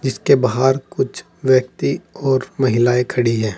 इसके बाहर कुछ व्यक्ति और महिलाएं खड़ी है।